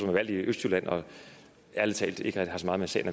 er valgt i østjylland og ærlig talt ikke har så meget med sagen